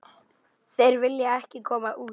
Þeir vilja ekki koma út.